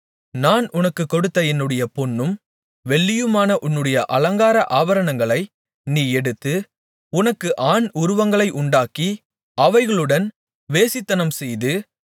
நான் உனக்குக் கொடுத்த என்னுடைய பொன்னும் வெள்ளியுமான உன்னுடைய அலங்கார ஆபரணங்களை நீ எடுத்து உனக்கு ஆண் உருவங்களை உண்டாக்கி அவைகளுடன் வேசித்தனம்செய்து